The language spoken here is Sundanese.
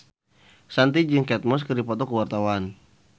Shanti jeung Kate Moss keur dipoto ku wartawan